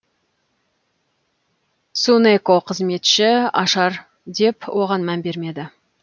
цунэко қызметші ашар деп оған мән бермеді